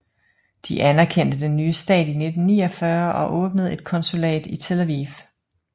De anerkendte den nye stat i 1949 og åbnede et konsulat i Tel Aviv